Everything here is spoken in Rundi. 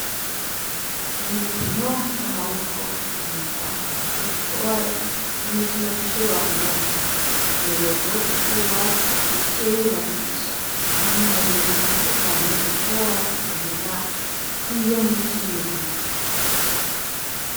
Imikino y'amaboko yitwa basiketibore n'imikino kw'ishure bakunda cane umuyobozi wo kw'ishure iwacu yaciye yubakisha ahantu habiri hatandukanye bashobora gukinira iyo mikino .